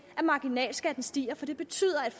at marginalskatten stiger for det betyder at